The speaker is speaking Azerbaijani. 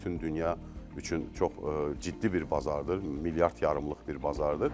Bütün dünya üçün çox ciddi bir bazardır, milyard yarımlıq bir bazardır.